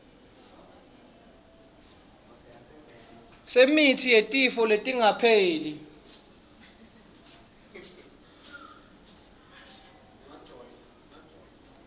semitsi yetifo letingapheli